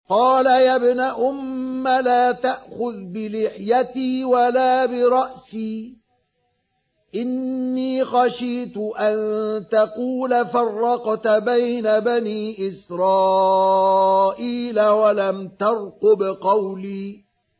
قَالَ يَا ابْنَ أُمَّ لَا تَأْخُذْ بِلِحْيَتِي وَلَا بِرَأْسِي ۖ إِنِّي خَشِيتُ أَن تَقُولَ فَرَّقْتَ بَيْنَ بَنِي إِسْرَائِيلَ وَلَمْ تَرْقُبْ قَوْلِي